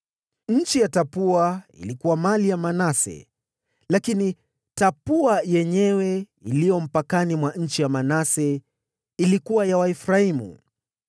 (Nchi ya Tapua ilikuwa mali ya Manase, lakini Tapua yenyewe iliyo mpakani mwa nchi ya Manase ilikuwa ya Waefraimu.)